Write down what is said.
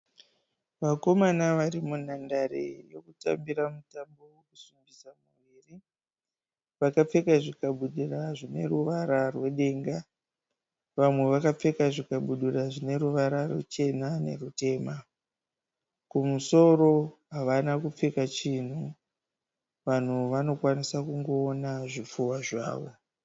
Vakomana vari munhandare yokutambira mutambo wokusimbisa muviri. Vakapfeka zvikabudura zvine ruvara rwedenga. Vamwe vakapfeka zvikabudura zvine ruvara ruchena nerwutema. Kumusoro havana kupfeka chinhu. Vanhu vanokwanisa kungoona zvipfuwa zvavo.